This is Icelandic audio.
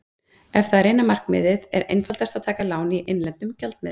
Ef það er eina markmiðið er einfaldast að taka lán í innlendum gjaldmiðli.